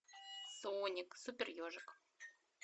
соник супер ежик